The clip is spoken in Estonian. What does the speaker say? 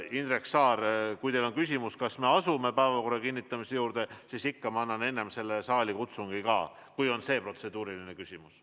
Indrek Saar, kui teil on küsimus, kas me asume päevakorra kinnitamise juurde, siis ikka ma annan enne saalikutsungi ka, kui on see protseduuriline küsimus.